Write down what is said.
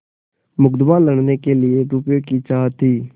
मुकदमा लड़ने के लिए रुपये की चाह थी